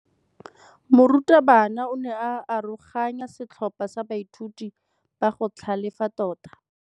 Morutabana o ne a aroganya setlhopha sa baithuti ba go tlhalefa tota.